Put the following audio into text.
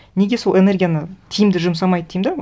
неге сол энергияны тиімді жұмсамайды деймін де